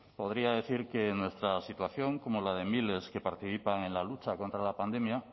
podría decir que en nuestra situación como la de miles que participan en la lucha contra la pandemia